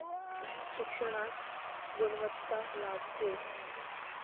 शिक्षणास गुणवत्ता लाभते.